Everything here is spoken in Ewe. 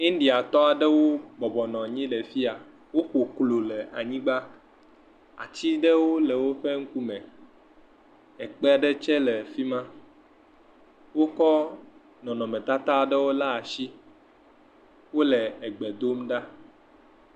ndiatɔwo bɔbɔ nɔ anyi ɖe afiya. Woƒo klo le anyigba. Ati ɖewo le wòƒe ŋkume. Ekpe ɖe tse le fima. Wokɔ nɔnɔme tata aɖewo le asi. Wòle gbe dom ɖa.